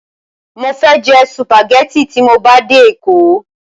Mo fẹ́ jẹ sùpàgẹ́tì tí mo bá dé Èkó.